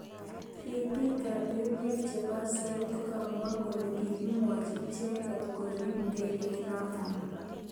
Ribik ab emet chebo soet kokamwa kole kikimwochimicheket korib ndegeit notok.